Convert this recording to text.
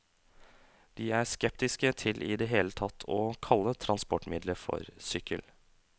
De er skeptiske til i det hele tatt å kalle transportmiddelet for sykkel.